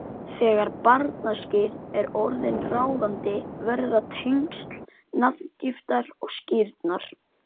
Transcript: Þegar barnaskírn er orðin ráðandi verða tengsl nafngiftar og skírnar